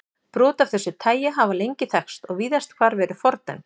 Brot af þessu tagi hafa lengi þekkst og víðast hvar verið fordæmd.